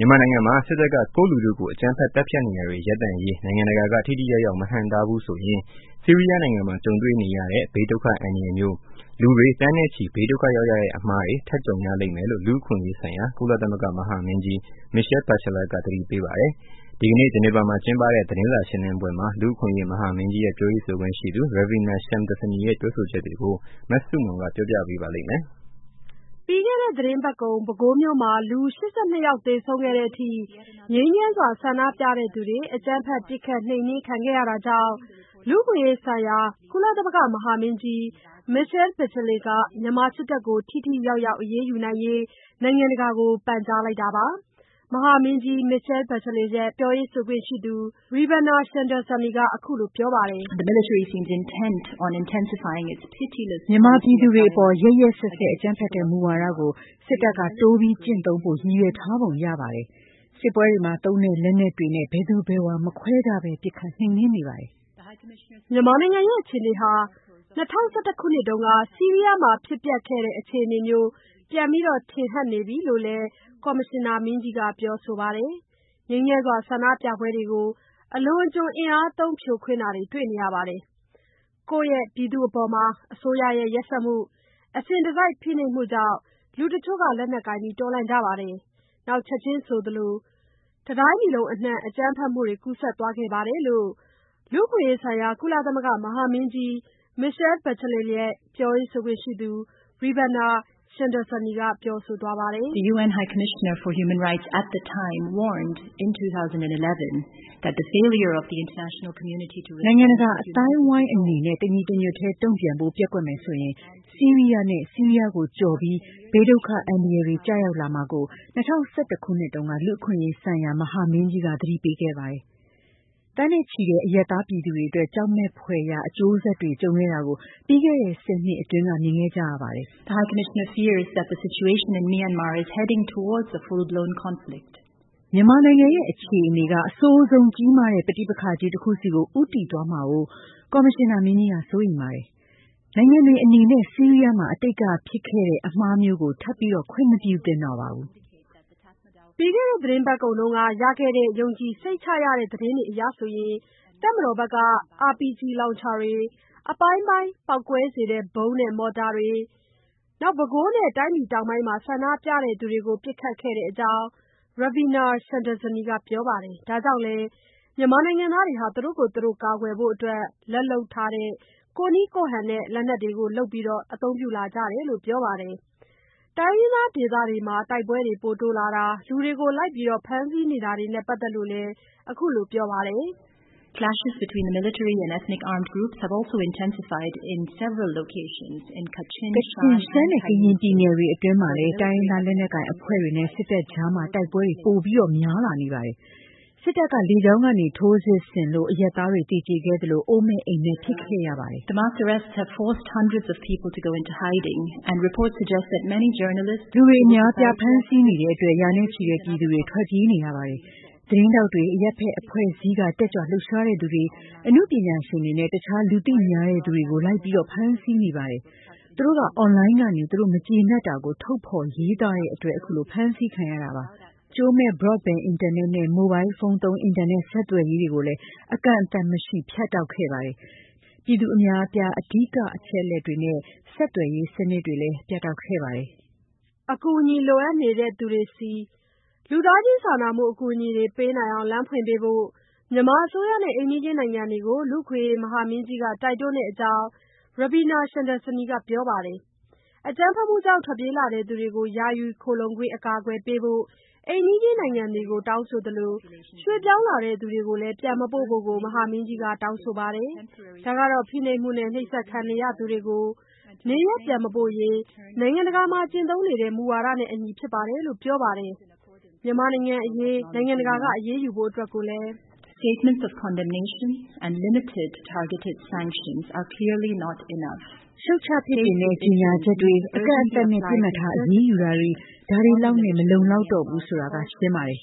မြန်မာနိုင်ငံမှာ စစ်တပ်က ကိုယ့်လူထုကို အကြမ်းဖက် သတ်ဖြတ်နေတာတွေ ရပ်တန့်ရေး နိုင်ငံတကာက ထိထိရောက် မဟန့်တားဘူးဆိုရင် ဆီးရီးယားနိုင်ငံမှာကြုံတွေ့ရတဲ့ ဘေးဒုက္ခအန္တရာယ်မျိုး၊ လူတွေ သန်းနဲ့ချီဘေးဒုက္ခ ရောက်ရတဲ့ အမှားတွေ ထပ်ကြုံရလိမ့်မယ်လို့ လူ့အခွင့်အရေးဆိုင်ရာ ကုလသမဂ္ဂ မဟာမင်းကြီး Michelle Bachelet က သတိပေးပါတယ်။ ဒီကနေ့ ဂျနီဗာမှာ ကျင်းပတဲ့ သတင်းစာရှင်းလင်းပွဲမှာ လူ့အခွင့်အရေး မဟာမင်းကြီးရဲ့ ပြောရေးဆိုခွင့်ရှိသူ Ravina Shamdasani ရဲ့ ပြောဆိုချက်တွေကို မဆုမွန်က ပြောပြပေးပါလိမ့်မယ်။ ပြီးခဲ့တဲ့သီတင်းပတ်ကုန် ပဲခူးမြို့မှာ လူ ၈၂ ယောက်သေဆုံးခဲ့တဲ့ အထိ ငြိမ်းချမ်းစွာ ဆန္ဒပြသူတွေ အကြမ်းဖက်ပစ်ခတ်နှိမ်နှင်းခံခဲ့ရတာကြောင့် လူ့အခွင့်အရေးဆိုင်ရာ ကုလသမဂ္ဂ မဟာမင်းကြီး Michelle Bachelet က မြန်မာစစ်တပ်ကို ထိထိ ရောက်ရောက် အရေးယူရေး နိုင်ငံတကာကို ပန်ကြားလိုက်တာပါ။ မဟာမင်းကြီး Michelle Bachelet ရဲ့ ပြောရေးဆိုခွင့်ရှိသူ Ravina Shamdasani က အခုလိုပြောပါတယ်။ “ မြန်မာပြည်သူတွေအပေါ် ရက်ရက်စက်စက် အကြမ်းဖက်တဲ့ မူဝါဒကို စစ်တပ်က တိုးပြီး ကျင့်သုံးဖို့ ရည်ရွယ်ထားပုံရပါတယ်။ စစ်ပွဲတွေမှာ သုံးတဲ့ လက်နက်တွေနဲ့ ဘယ်သူဘယ်ဝါ မခွဲခြားဘဲ ပစ်ခတ်နှိမ်နှင်းနေပါတယ်။” မြန်မာနိုင်ငံအခြေအနေဟာ ၂၀၁၁ ခုနှစ်က ဆီရီးယားမှာ ဖြစ်ပျက်ခဲ့တဲ့ အခြေအနေမျိုး ပြန်ထင်ဟတ်နေပြီလို့လည်း ကော်မရှင်နာမင်းကြီးက ပြောဆိုပါတယ်။ ငြိမ်းချမ်းစွာ ဆန္ဒပြပွဲတွေကို အလွန်အကျွံအင်အားသုံး ဖြိုခွင်းတာတွေ တွေ့နေရတယ်။ ကိုယ့်ပြည်သူတွေအပေါ် အစိုးရရဲ့ ရက်စက်မှု၊ အစဉ်တစိုက် ဖိနှိပ်မှုကြောင့် လူတချို့က လက်နက်ကိုင်တော်လှန်ကြပါတယ်။ နောက် ချက်ချင်းဆိုသလို တတိုင်းပြည်လုံး အနှံ့ အကြမ်းဖက်မှုတွေ ကူးစက်သွားခဲ့ပါတယ်လို့ လူ့အခွင့်အရေးဆိုင်ရာ ကုလသမဂ္ဂ မဟာမင်းကြီး Michelle Bachelet ရဲ့ ပြောရေးဆိုခွင့်ရှိသူ Ravina Shamdasani က ပြောဆိုသွားပါတယ်။ “ နိုင်ငံတကာ အသိုင်းအနေနဲ့ တညီတညွတ်တည်း တုံ့ပြန်ဖို့ ပျက်ကွက်မယ်ဆိုရင် ဆီရီးယားနဲ့ ဆီးရီးယားကို ကျော်ပြီး ဘေးဒုက္ခ အန္တရယ်တွေ ကျရောက်လာမှာကို ၂၀၁၁ ခုနှစ်တုန်းက လူ့အခွင့်အရေးဆိုင်ရာ မဟာမင်းကြီးက သတိပေးခဲ့ပါတယ်။ သန်းနဲ့ချီတဲ့ အရပ်သား ပြည်သူတွေအတွက် ကြောက်မယ်ဖွယ်ရာ အကျိုးဆက်တွေ ကြုံခဲ့တာကို ပြီးခဲ့တဲ့ ၁၀ နှစ်အတွင်း မြင်ခဲ့ကြရပါတယ်။ မြန်မာနိုင်ငံရဲ့ အခြေအနေက အဆိုးဆုံး ကြီးမားတဲ့ ပဋိပက္ခ ကြီး တခုဆီ ဦးတည်သွားမှာကို ကော်မရှင်နာမင်းကြီးက စိုးရိမ်ပါတယ်။ နိုင်ငံတွေအနေနဲ့ ဆီးရီးယားမှာ အတိတ်က ဖြစ်ပွားခဲ့တဲ့ အမှားမျိုးကို ထပ်ပြီးတော့ ခွင့်မပြုသင့်တော့ပါဘူး။” ပြီးခဲ့တဲ့ သီတင်းပတ်ကုန်က ရခဲ့တဲ့ ယုံကြည်စိတ်ချရတဲ့ သတင်းတွေအရ၊ တပ်မတော်ဘက်က RPG လောင်ချာတွေ၊ အပိုင်းပိုင်း ပေါက်ကွဲစေတဲ့ ဗုံးနဲ့ မော်တာတွေနဲ့ ပဲခူးနဲ့ တိုင်းပြည်တောင်ပိုင်းမှာ ဆန္ဒပြသူတွေကို ပစ်ခတ်ခဲ့တဲ့အကြောင်း Ravina Shamdasani က ပြောပါတယ်။ ဒါကြောင့်လည်း မြန်မာနိုင်ငံသား သူတို့ကိုယ်သူတို့ ကာကွယ်ဖို့ လက်လုပ်၊ ကိုယ့်နည်းကိုယ့်ဟန်နဲ့ လက်နက်တွေလုပ်ပြီး အသုံးပြုလာကြတယ်လို့ ပြောပါတယ်။ တိုင်းရင်းသားဒေသ တိုက်ပွဲတွေ တိုးလာတာ၊ လူတွေကို လိုက်ပြီး ဖမ်းဆီးနေတာတွေနဲ့ ပတ်သက်လို့လည်း အခုလို ပြောပါတယ်။ “ ကချင်၊ ရှမ်းနဲ့ ကရင်ပြည်နယ်တွေအတွင်းမှာလည်း တိုင်းရင်းသားလက်နက်ကိုင်အဖွဲ့တွေနဲ့ စစ်တပ်အကြား တိုက်ပွဲတွေ ပိုများလာနေပါတယ်။ စစ်တပ်က လေကြောင်းကနေ ထိုးစစ်ဆင်လို့ အရပ်သားတွေ သေကြေခဲ့သလို အိုးမဲ့အိမ်မဲ့ဖြစ်ခဲ့ရပါတယ်။ လူတွေ အများအပြား ဖမ်းဆီးနေတဲ့အတွက် ရာနဲ့ချီတဲ့ ပြည်သူတွေ ထွက်ပြေးနေရပါတယ်။ သတင်းထောက်တွေ၊ အရပ်ဖက်အဖွဲ့အစည်းက တက်ကြွ လှုပ်ရှားသူတွေ၊ အနုပညာရှင်တွေနဲ့ တခြား လူသိများတဲ့သူတွေကို လိုက်လံဖမ်းဆီးနေပါတယ်။ သူတို့က အွန်လိုင်းကနေ သူတို့ မကျေနပ်တာကို ထုတ်ဖေါ်ရေးသားတဲ့အတွက်ပါ။ ကြိုးမဲ့ Broadband အင်တာနက်နဲ့ မိုဘိုင်းဖုန်းသုံး အင်တာနက် ဆယ်သွယ်ရေးတွေကို အကန့်အသတ်မရှိ ဖြတ်တောက်ခဲ့ပါတယ်။ ပြည်သူအများအပြား အဓိက သတင်းအချက်အလက်တွေနဲ့ ဆက်သွယ်ရေးစနစ် ပြတ်တောက်ခဲ့ပါတယ်။” အကူအညီ လိုအပ်နေတဲ့သူတွေဆီ လူသားချင်းစာနာမှု အကူအညီတွေ ပေးနိုင်အောင ်လမ်းဖွင့်ပေးဖို့ မြန်မာအစိုးရနဲ့ အိမ်နီးချင်းနိုင်ငံတွေကို လူ့အခွင့်အရေး မဟာမင်းကြီးက တိုက်တွန်းတဲ့အကြောင်း Ravina Shamdasani က ပြောပါတယ်။ အကြမ်းဖက်မှုကြောင့် ထွက်ပြေးလာတဲ့လူတွေကို ယာယီ အကာအကွယ်ပေးဖို့ အိမ်နီချင်းနိုင်ငံတွေကို တောင်းဆိုသလို ရွှေ့ပြောင်းလာသူတွေကို ပြန်မပို့ဖို့လည်း မဟာမင်းကြီးက တောင်းဆိုပါတယ်။ ဒါက ဖိနှိပ်မှုနဲ့ နှိပ်စက်ခံရနိုင်တဲ့သူတွေကို နေရပ်ပြန်မပို့ရေး နိုင်ငံတကာမှာ ကျင့်သုံးနေတဲ့ မူဝါဒနဲ့ အညီဖြစ်တယ်လို့ ပြောပါတယ်။ မြန်မာနိုင်ငံ့အရေး နိုင်ငံတကာက အရေးယူဖို့ အတွက်လည်း “ရှုတ်ချ ပြစ်တင်တဲ့ ကြေညာချက်တွေ၊ အကန့်အသတ်နဲ့ ပစ်မှတ်ထား အရေးယူတာတွေ ဒါတွေလောက်နဲ့ မလုံလောက်တော့ဘူးဆိုတာ ရှင်းပါတယ်။